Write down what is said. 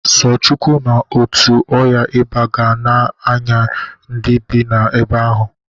So Chukwu ma etu ọya iba ga na-aya ndị bị na-ebe ahụ.